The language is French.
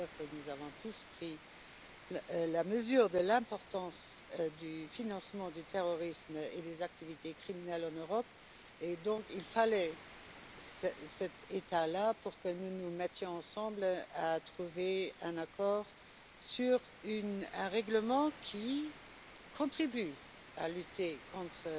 Nous avons en effet tous pris la mesure de l'importance du financement du terrorisme et des activités criminelles en Europe, et il fallait une telle situation pour que nous nous mettions ensemble pour trouver un accord sur un règlement qui contribue à lutter contre